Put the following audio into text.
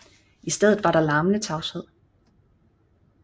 I stedet var der larmende tavshed